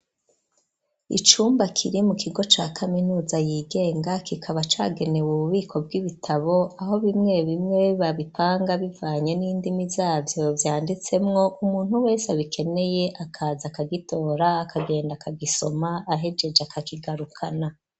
Icumba kiri mu kigo ca kaminuza yigenga kikaba cagenewe ububiko bw'ibitabo aho bimwe bimwe babipanga bivanye n'indimi zabyo vyanditsemwo umuntu wese abikeneye akaza akagitora akagenda kagisoma ahegeje akakigarukana.